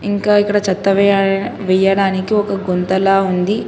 ఇంకా ఇక్కడ చెత్త వెయ్యడా వెయ్యడానికి ఒక గుంతలా ఉంది.